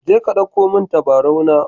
Je ka dauko min tabarau na.